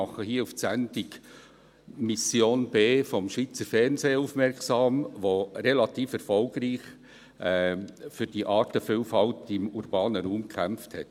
Ich mache hier auf die Sendung «Mission B» des Schweizer Fernsehens aufmerksam, die relativ erfolgreich für die Artenvielfalt im urbanen Raum gekämpft hat.